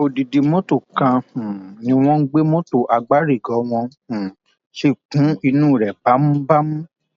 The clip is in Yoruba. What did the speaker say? odidi mọtò kan um ni wọn gbé mọtò àgbárígò wọn um sì kún inú rẹ bámúbámú